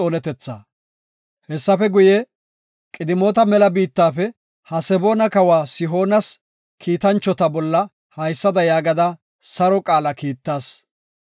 Hessafe guye, Qidemoota mela biittafe Haseboona kawa Sihoonas kiitanchota bolla haysada yaagada saro qaala kiittas.